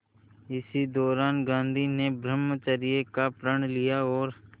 इसी दौरान गांधी ने ब्रह्मचर्य का प्रण लिया और